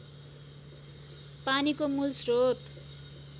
पानीको मूल श्रोत